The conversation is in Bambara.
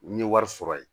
N ye wari sɔrɔ yen